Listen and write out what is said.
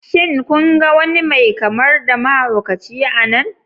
Shin kun ga wani mai kamar da mahaukaci a nan?